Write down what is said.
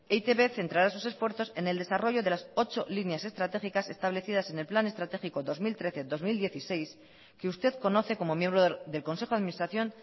e i te be centrará sus esfuerzos en el desarrollo de las ocho líneas estratégicas establecidas en el plan estratégico dos mil trece dos mil dieciséis que usted conoce como miembro del consejo de administración